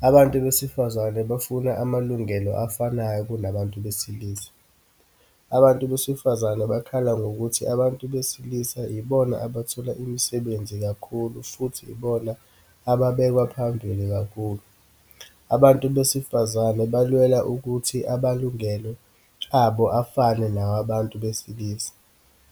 Abantu besifazane bafuna amalungelo afanayo kunabantu besilisa. Abesifazane bakhala ngokuthi abantu besilisa ibona abathola imisebenzi kakhulu futhi ibona ababekwaphambili kakhulu. Abantu besifazane balwela ukuthi abalungelo abo afane nawabantu besilisa.